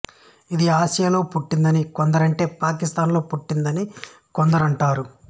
ఇది ఆసియాలో పుట్టిందని కొందరంటే పాకిస్తాన్ లో పుట్టిందని కొందరంటారు